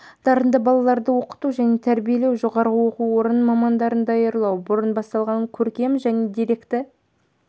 дарынды балаларды оқыту және тәрбиелеуге жоғары оқу орының мамандарын даярлауға бұрын басталған көркем және деректі